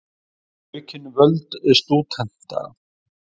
Vilja aukin völd stúdenta